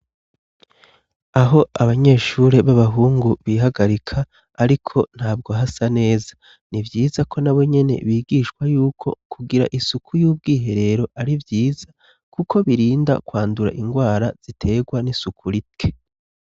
Aho abanyeshure b'abahungu bihagarika, ariko ntabwo hasa neza ni vyiza ko na be nyene bigishwa yuko kugira isuku y'ubwihe rero ari vyiza, kuko birinda kwandura ingwara ziterwa n'isuku rite.